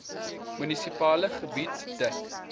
munisipale gebied dek